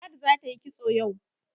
Ladi za ta yi kitso yau.